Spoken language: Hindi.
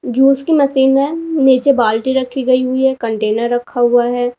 जूस की मशीन है नीचे बाल्टी रखी गई हुई हैं कंटेनर रखा हुआ है।